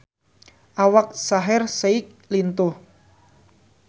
Awak Shaheer Sheikh lintuh